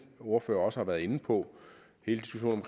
ordførere også har været inde på hele diskussionen